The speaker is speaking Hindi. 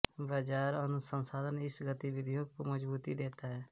बाज़ार अनुसंधान इन गतिविधियों को मज़बूती देता है